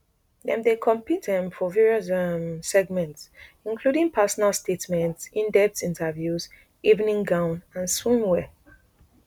dem dey compete um for various um segments including personal statements indepth interviews evening gown and swimwear